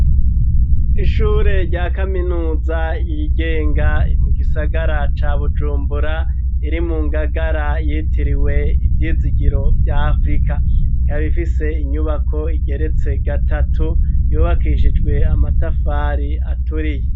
Ishure rya kaminuza yigenga mu gisagara ca bujumbura iri mu ngagara yitiriwe ivyizigiro vya afurika kabifise inyubako igeretse gatatu yobakishijwe amatafari aturiye.